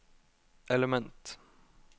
element